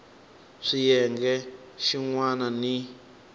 swa xiyenge xin wana ni